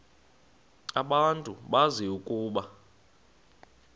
abantu bazi ukuba